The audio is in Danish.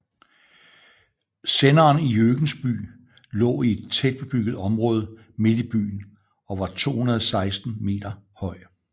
Senderen i Jørgensby lå i et tætbebygget område midt i byen og var 216 meter høj